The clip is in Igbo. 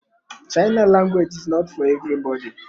China language is not for everybody.